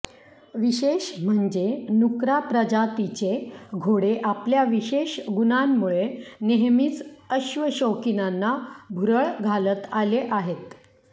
विशेष म्हणजे नुकरा प्रजातीचे घोडे आपल्या विशेष गुणांमुळे नेहमीच अश्वशौकिनांना भुरळ घालत आले आहेत